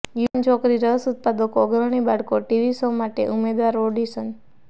યુવાન છોકરી રસ ઉત્પાદકો અગ્રણી બાળકો ટીવી શો માટે ઉમેદવારો ઓડિશન